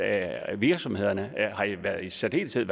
at virksomhederne i særdeleshed